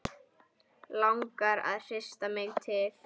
Langar að hrista mig til.